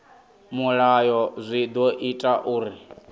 mulayo zwi ḓo ita uri